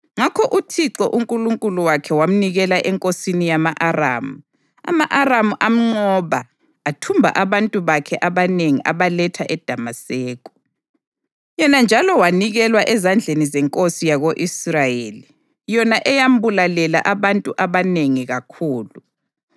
Ngakho uThixo uNkulunkulu wakhe wamnikela enkosini yama-Aramu. Ama-Aramu amnqoba athumba abantu bakhe abanengi abaletha eDamaseko. Yena njalo wanikelwa ezandleni zenkosi yako-Israyeli, yona eyambulalela abantu abanengi kakhulu.